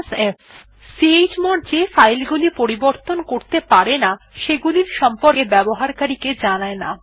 f160 chmod যে file গুলি পরিবর্তন করতে পারে না সেগুলির সম্পকে ব্যবহারকারী কে জানায় না